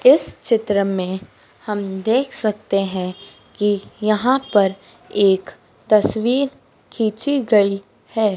इस चित्र में हम देख सकते हैं कि यहां पर एक तस्वीर खींची गई है।